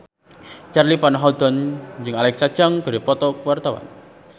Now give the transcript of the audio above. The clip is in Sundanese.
Charly Van Houten jeung Alexa Chung keur dipoto ku wartawan